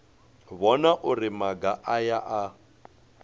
vhona uri maga aya a